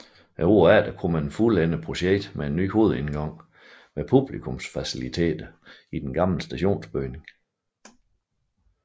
Året efter kunne man fuldende projektet med en ny hovedindgang med publikumsfaciliteter i den gamle stationsbygning